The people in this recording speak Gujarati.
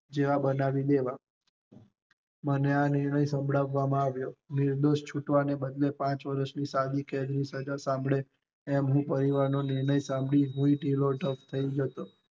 જેવા બનાવી દેવા મને આ નિર્ણય સંભળાવા માં આવ્યો, નિર્દોષ છૂટવાના બદલે પણ પાંચ વર્ષ ની સજા સાંભળ્યા એમ હું પરિવાર ની નિર્ણય સાંભળી હું પણ ઢીલો ધબ થઇ ગયો.